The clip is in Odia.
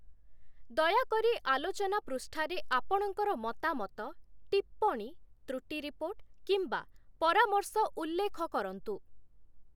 ଦୟାକରି ଆଲୋଚନା ପୃଷ୍ଠାରେ ଆପଣଙ୍କର ମତାମତ, ଟିପ୍ପଣୀ, ତୃଟି ରିପୋର୍ଟ, କିମ୍ବା ପରାମର୍ଶ ଉଲ୍ଲେଖ କରନ୍ତୁ ।